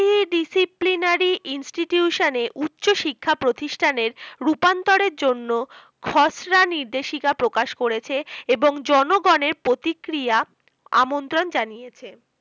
Disciplinary Institution এর উচ্চশিক্ষা প্রতিষ্ঠানের রূপান্তরের জন্য নির্দেশিকা প্রকাশ করেছে এবং জন কল্যানের জন্য জনগণের প্রতিক্রিয়া আমন্ত্রণ জানিয়েছে